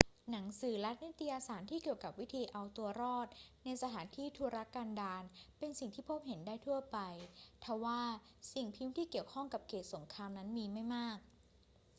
หนังสือและนิตยสารที่เกี่ยวกับวิธีเอาตัวรอดในสถานที่ทุรกันดารเป็นสิ่งที่พบเห็นได้ทั่วไป ทว่าสิ่งพิมพ์ที่เกี่ยวข้องกับเขตสงครามนั้นมีไม่มาก